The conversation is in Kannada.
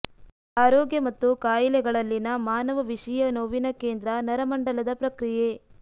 ಆರೋಗ್ಯ ಮತ್ತು ಕಾಯಿಲೆಗಳಲ್ಲಿನ ಮಾನವ ವಿಷೀಯ ನೋವಿನ ಕೇಂದ್ರ ನರಮಂಡಲದ ಪ್ರಕ್ರಿಯೆ